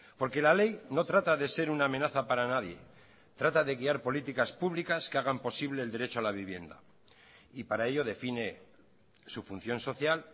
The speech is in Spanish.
porque la ley no trata de ser una amenaza para nadie trata de guiar políticas públicas que hagan posible el derecho a la vivienda y para ello define su función social